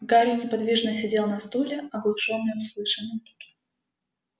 гарри неподвижно сидел на стуле оглушённый услышанным